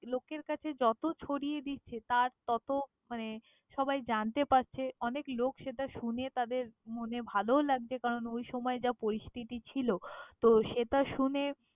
লোকের কাছে যত ছড়িয়ে দিচ্ছে, তার তত মানে সবাই জানতে পারছে, অনেক লোক সেটা শুনে তাদের মনে সেটা ভালোও লাগছে কারণ ওই সময়ে যা পরিস্থিতি ছিল, তো সেটা শুনে।